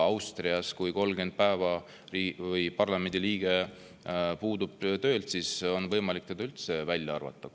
Austrias kui parlamendi liige 30 päeva töölt puudub, siis on võimalik ta üldse koosseisust välja arvata.